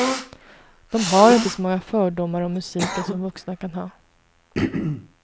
De har inte så många fördomar om musiken som vuxna kan ha.